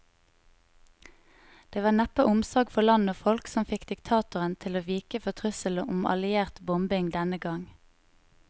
Det var neppe omsorg for land og folk som fikk diktatoren til å vike for trusselen om alliert bombing denne gang.